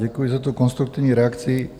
Děkuji za tu konstruktivní reakci.